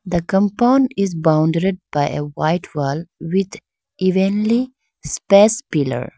the compound is boundared by a white wall with evenly space pillar.